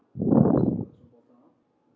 Ég þarf þess oft.